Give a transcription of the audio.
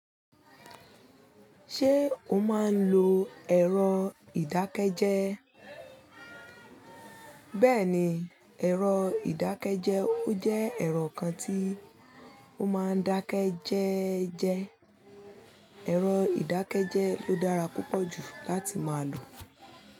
Ṣé o máa n lo ẹ̀rọ ìdákẹ́jẹ́? Bẹ́ẹ̀ni, ẹ̀rọ ìdákẹ́jẹ́ ó jẹ́ ẹ̀rọ kan tí o máa ń dákẹ́ jẹ́ ẹ́ jẹ. Ẹ̀rọ ìdákẹ́jẹ́ ló dára púpọ̀ jù láti máa lò.